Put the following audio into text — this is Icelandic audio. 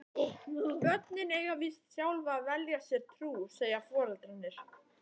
Börnin eiga víst sjálf að velja sér trú, segja foreldrarnir.